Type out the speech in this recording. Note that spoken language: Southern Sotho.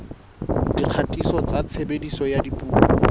dikgatiso tsa tshebediso ya dipuo